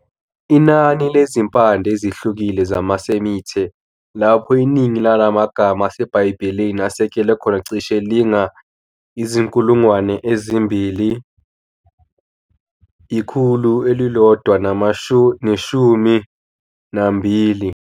Inani lezimpande ezihlukile zamaSemite, lapho iningi lala magama aseBhayibhelini asekelwe khona, cishe linga-2000. - 112